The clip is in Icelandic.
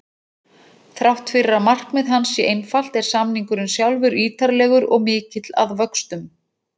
Þrátt fyrir að markmið hans sé einfalt er samningurinn sjálfur ítarlegur og mikill að vöxtum.